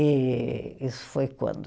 E isso foi quando?